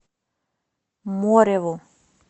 мореву